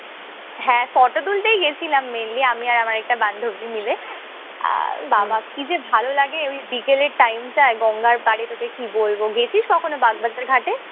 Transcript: হ্যাঁ, photo তুলতেই গেছিলাম mainly আমি আর আমার একটা বান্ধবী মিলে। আর বাবা কি যে ভালো লাগে ওই বিকেলের time টায় গঙ্গার পাড়ে। তোকে কি বলব। গেছিস কখনো বাগবাজার ঘাটে?